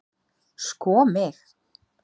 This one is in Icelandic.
sko mig!